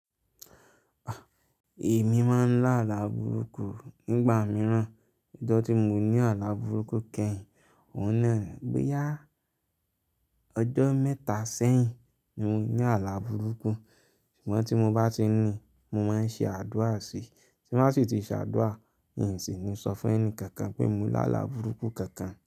Èmi máa ń lá alàburúkú nígbà mìíràn, ọjọ́ tí mo ní alàburúkú kẹ́yìn, òhun náà bo "Yá! Ọjọ́ mẹ́ta sẹ́yìn ni mo ní alàburúkú", ṣùgbọ́n tí mo bá ti ní, mo máa ń ṣe àdúrà sí i, tí n ba sì ti ṣe àdúrà, in sì ni ó sọ fún ẹni kankan pé mo lá la burúkú kankan.